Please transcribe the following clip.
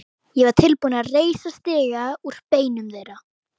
Ég var tilbúinn að reisa stiga úr beinum þeirra.